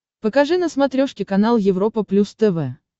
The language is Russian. покажи на смотрешке канал европа плюс тв